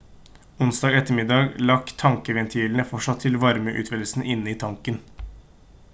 onsdag ettermiddag lakk tankventilene fortsatt fra varmeutvidelse inne i tanken